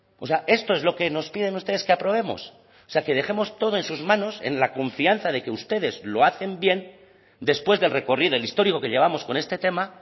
o sea esto es lo que nos piden ustedes que aprobemos o sea que dejemos todo en sus manos en la confianza de que ustedes lo hacen bien después del recorrido el histórico que llevamos con este tema